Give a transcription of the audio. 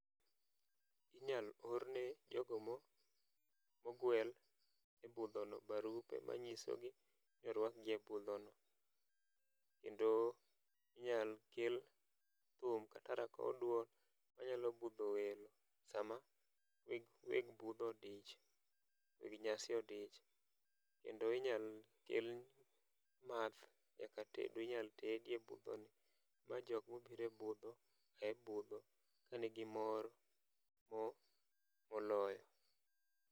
Inyal orne jogo mok ogwel e budhono barupe manyiso ni orwaki e budho no. Kendo inyal kel thum kata rakow duol manyalo budho welo sama weg budho odich, weg nyasi odich. Kendo inyal kel math nyaka tedo inyal tedi e budho no ma jok mobiro e budho, ae budho ka nigi moro mo moloyo.